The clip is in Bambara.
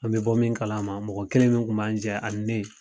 An be bɔ min kalama, mɔgɔ kelen min kun b'an jɛ ani ne